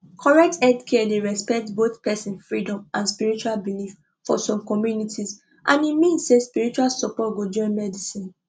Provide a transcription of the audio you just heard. correct healthcare dey respect both person freedom and spiritual belief for some communities and e mean say spiritual support go join medicine